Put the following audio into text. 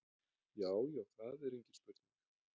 Já já, það er engin spurning.